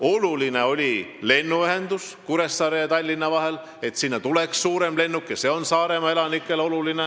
Oluline oli ka lennuühendus Kuressaare ja Tallinna vahel – Saaremaa elanikele oli oluline, et sinna tuleks suurem lennuk.